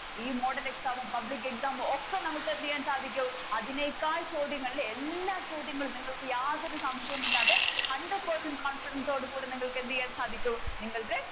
ഈ model exam ഉം pubic ഉം ഒക്കെ നമുക്ക് എന്ത് ചെയ്യാൻ സാധിക്കും അതിനേക്കാൾ ചോദ്യങ്ങൾ അല്ലെ എല്ലാ ചോദ്യങ്ങളും നിങ്ങൾ യാതൊരു സംശയവും ഇല്ലാതെ hundred percent confidence ഓട് കൂടെ നിങ്ങൾക്ക് എന്ത് ചെയ്യാൻ സാധിക്കും നിങ്ങൾക്ക്